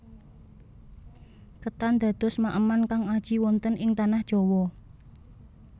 Ketan dados maeman kang aji wonten ing tanah Jawa